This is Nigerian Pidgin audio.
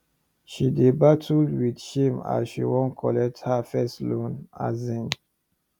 she dey battle with shame as she wan collect her first loan um